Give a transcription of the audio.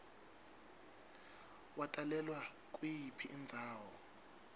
watalelwa kuyiphi indzawo